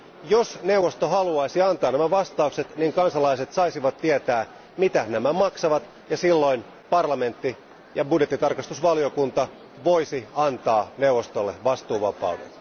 Jos neuvosto haluaisi antaa nämä vastaukset, niin kansalaiset saisivat tietää, mitä nämä maksavat, ja silloin parlamentti ja budjettitarkastusvaliokunta voisi antaa neuvostolle vastuuvapauden.